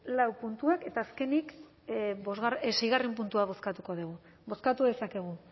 laugarren eta bosgarren puntuak eta azkenik seigarren puntua bozkatuko dugu bozkatu dezakegu